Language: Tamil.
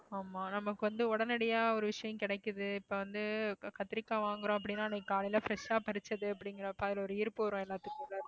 ஆமா நமக்கு வந்து உடனடியா ஒரு விஷயம் கிடைக்குது இப்ப வந்து கத்திரிக்காய் வாங்கறோம் அப்படின்னா இன்னைக்கு காலையில fresh ஆ பறிச்சது அப்படிங்கிறப்போ அதுல ஒரு ஈர்ப்பு வரும் எல்லாத்துக்குள்ள